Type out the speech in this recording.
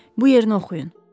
Bu yerini oxuyun.